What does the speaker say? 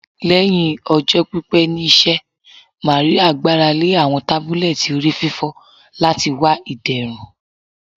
Lẹhin ọjọ pipẹ ni iṣẹ, Maria gbarale awọn tabulẹti orififo lati wa iderun